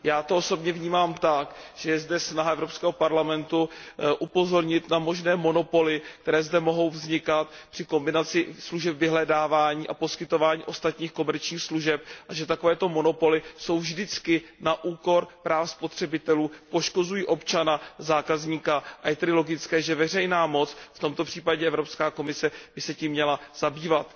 Já to osobně vnímám tak, že je zde snaha Evropského parlamentu upozornit na možné monopoly, které zde mohou vznikat při kombinaci služeb vyhledávání a poskytování ostatních komerčních služeb, a že takovéto monopoly jsou vždycky na úkor práv spotřebitelů, poškozují občana zákazníka. Je tedy logické, že veřejná moc, v tomto případě Evropská komise, by se tím měla zabývat.